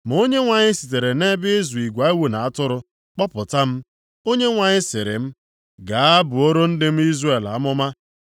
Ma Onyenwe anyị sitere nʼebe ịzụ igwe ewu na atụrụ kpọpụta m, Onyenwe anyị sịrị m: ‘Gaa buoro ndị m Izrel amụma.’